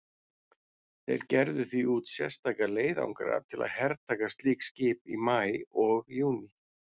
Þeir gerðu því út sérstaka leiðangra til að hertaka slík skip í maí og júní.